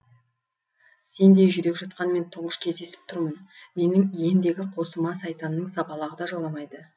сендей жүрек жұтқанмен тұңғыш кездесіп тұрмын менің иендегі қосыма сайтанның сапалағы да жоламайды